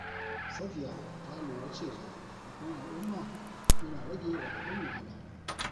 Safiya ta lura cewa taimakon al’umma yana rage radadin wahala.